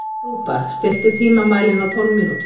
Rúbar, stilltu tímamælinn á tólf mínútur.